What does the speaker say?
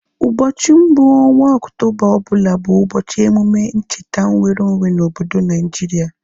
Ụbọchị mbụ ọnwa Okutoba ọbụla bụ ụbọchị emume ,ncheta nweru onwe na obodo Naijiria